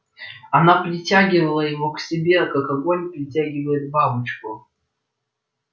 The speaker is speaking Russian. она притягивала его к себе как огонь притягивает бабочку